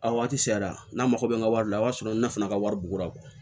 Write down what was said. A waati sera n'a mago bɛ n ka wari la o y'a sɔrɔ ne fana ka wari bugura